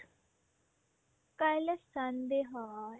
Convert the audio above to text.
কাইলে sunday হয়